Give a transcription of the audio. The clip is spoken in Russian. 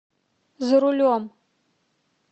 за рулем